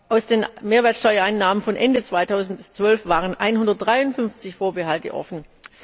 Aus den Mehrwertsteuereinnahmen von Ende 2012 waren 153 Vorbehalte offen.